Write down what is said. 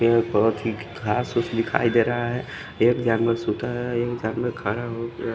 यहाँ बोहोत ही खास फूस दिखाई दे रहा है एक जानवर सुता है एक जानवर खरा होक--